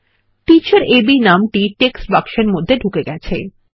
teacher A B নামটি text বাক্সের মধ্যে ঢুকে গেছে